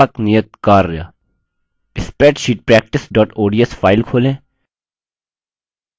व्यापक नियत कार्य spreadsheet practice ods file खोलें